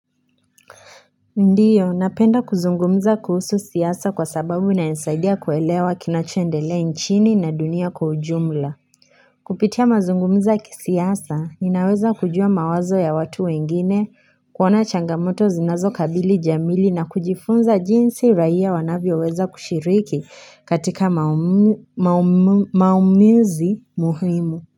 Ndio, napenda kuzungumza kuhusu siasa kwa sababu inanisaidia kuelewa kinachoendelea inchini na dunia kwa ujumla. Kupitia mazungumza ya kisiasa ninaweza kujua mawazo ya watu wengine, kuona changamoto zinazo kabili jamii na kujifunza jinsi raia wanavyo weza kushiriki katika maumizi muhimu.